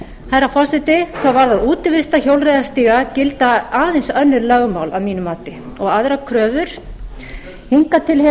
herra forseti hvað varðar útivistarhjólreiðastíga gilda aðeins önnur lögmál að mínu mati og aðrar kröfur hingað til